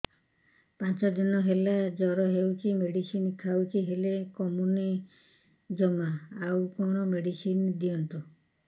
ପାଞ୍ଚ ଦିନ ହେଲା ଜର ହଉଛି ମେଡିସିନ ଖାଇଛି ହେଲେ କମୁନି ଜମା ଆଉ କଣ ମେଡ଼ିସିନ ଦିଅନ୍ତୁ